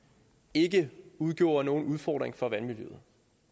ikke udgjorde nogen udfordring for vandmiljøet